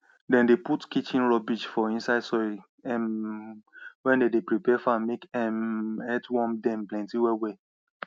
dem dey put kitchen rubbish for inside soil um wen dem dey prepare farm make um earthworm dem plenty wellwell